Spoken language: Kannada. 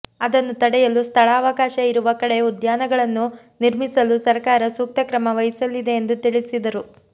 ಅದನ್ನು ತಡೆಯಲು ಸ್ಥಳಾವಕಾಶ ಇರುವ ಕಡೆ ಉದ್ಯಾನಗಳನ್ನು ನಿರ್ಮಿಸಲು ಸರಕಾರ ಸೂಕ್ತ ಕ್ರಮ ವಹಿಸಲಿದೆ ಎಂದು ತಿಳಿಸಿದರು